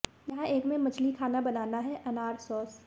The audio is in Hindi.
यहाँ एक में मछली खाना बनाना है अनार सॉस